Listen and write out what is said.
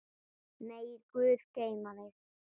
Megi Guð geyma þig.